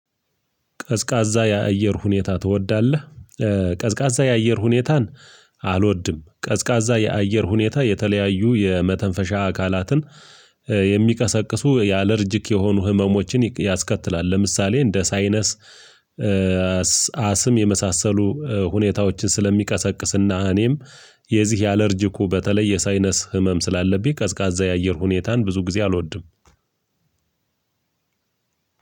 ቀዝቃዛ የአየር ሁኔታ ትወዳለህ? ቀዝቃዛ የአየር ሁኔታን አልወድም ቀዝቃዛ የአየር ሁኔታ የተለያዩ የመተንፈሻ አካላትን የሚቀሰቅሱ ያአለርጅክ የሆኑ ህመሞችን ያስከትላል። ለምሳሌ እንደ ሳይነስ አስም የመሳሰሉ ሁኔታዎችን ስለሚቀሰቅስና እኔም የዚህ ያአለርጂኩ በተለይ የሳይነስ ህመም ስላለብኝ። ቀዝቃዛ የአየር ሁኔታን ብዙ ጊዜ አልወድም።